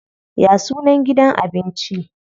Ya sunan gidan abinci?